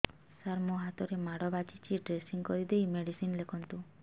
ସାର ମୋ ହାତରେ ମାଡ଼ ବାଜିଛି ଡ୍ରେସିଂ କରିଦେଇ ମେଡିସିନ ଲେଖନ୍ତୁ